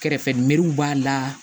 Kɛrɛfɛmɛriw b'a la